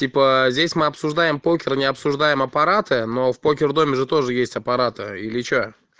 типа здесь мы обсуждаем покер не обсуждаем аппараты но в покердоме же тоже есть аппараты или что